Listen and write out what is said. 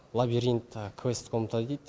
лабиринт тағы квест комната дейді